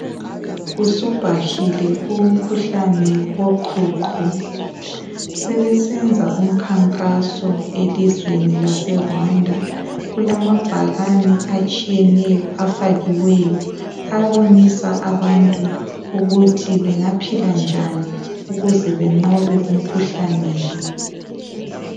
Usubhahile umkhuhlane woqhuqho sebesenza umkhankaso elizweni lase Rwanda kulamabhakane atshiyeneyo afakiweyo abonisa abantu ukuthi bengaphila njani ukuze benqobe umkhuhlane lo.